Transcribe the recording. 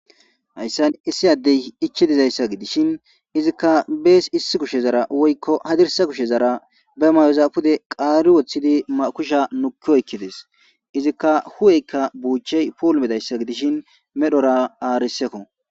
hayssan issi addey ichi dizayssa gidishin izikka bees issi kushe zara woykko hadirsa kushe zara be mayozapude qaari woththidi kusha nukki oykkides izikka hu7eykka buuchey poul medayssa gidishin medhora aarisekko